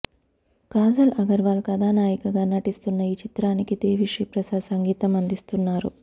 కాజల్ అగర్వాల్ కథానాయికగా నటిస్తున్న ఈ చిత్రానికి దేవి శ్రీ ప్రసాద్ సంగీతం అందిస్తున్నారు